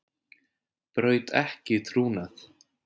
Braut ekki trúnað